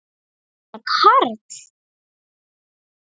Er þetta Karl?